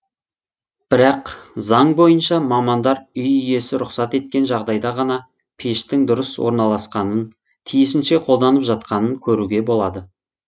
бірақ заң бойынша мамандар үй иесі рұқсат еткен жағдайда ғана пештің дұрыс орналасқанын тиісінше қолданып жатқанын көруге болады